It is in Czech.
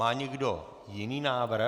Má někdo jiný návrh?